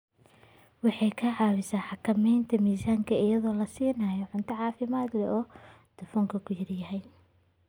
Waxay ka caawisaa xakamaynta miisaanka iyadoo la siinayo cunto caafimaad leh oo dufanku ku yar yahay.